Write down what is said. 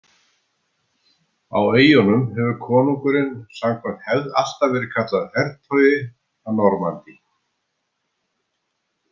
Á eyjunum hefur konungurinn samkvæmt hefð alltaf verið kallaður hertogi af Normandí.